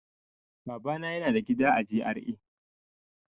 Babana yana da gida a G.R.A.